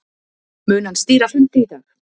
Mun hann stýra fundi í dag